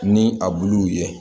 Ni a buluw ye